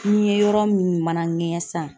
Ni ye n yɔrɔ min mana ŋɛɲɛ sisan